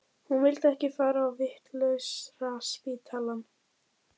Hún vildi ekki fara á vitlausraspítalann.